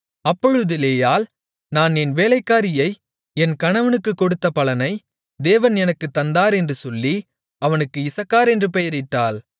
அப்பொழுது லேயாள் நான் என் வேலைக்காரியை என் கணவனுக்குக் கொடுத்த பலனைத் தேவன் எனக்குத் தந்தார் என்று சொல்லி அவனுக்கு இசக்கார் என்று பெயரிட்டாள்